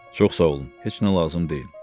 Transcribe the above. Çox sağ olun, heç nə lazım deyil.